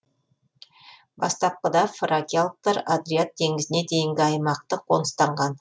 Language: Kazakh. бастапқыда фракиялықтар адриат теңізіне дейінгі аймақты қоныстанған